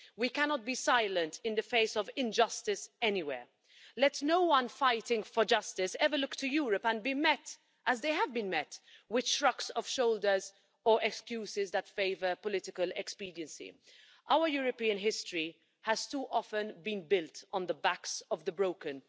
We cannot be silent in the face of injustice anywhere. Let no one fighting for justice ever look to Europe and be met as they have been met with shrugs of shoulders or excuses that favour political expediency. Our European history has too often been built on the backs of the broken.